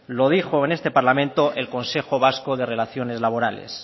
lo dijo en este parlamento el consejo vasco de relaciones laborales